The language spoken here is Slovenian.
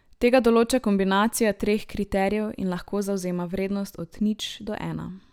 Tega določa kombinacija treh kriterijev in lahko zavzema vrednost od nič do ena.